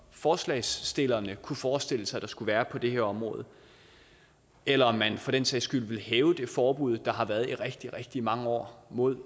forslagsstillerne kunne forestille sig der skulle være på det her område eller om man for den sags skyld ville hæve det forbud der har været i rigtig rigtig mange år mod